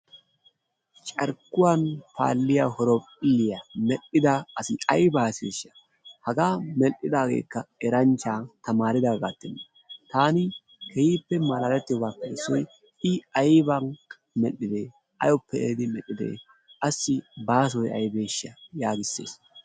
Carikuwan faliyaa horophiliyaa merhidda assi ayba aseshsha haga merhidagekka erancha tamaridagatenne, tanni kehippe malalettiyogappe issoy i ayban merhide, awuppe eehiddi merhiddee aassi basoy aybesha yagisees.